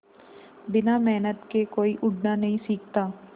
बिना मेहनत के कोई उड़ना नहीं सीखता